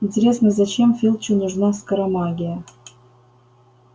интересно зачем филчу нужна скоромагия